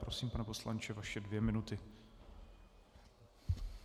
Prosím, pane poslanče, vaše dvě minuty.